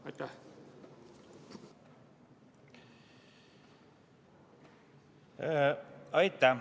Aitäh!